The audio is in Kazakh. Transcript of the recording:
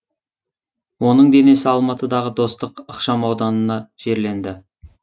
оның денесі алматыдағы достық ықшамауданына жерленді